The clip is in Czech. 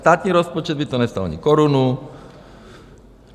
Státní rozpočet by to nestálo ani korunu.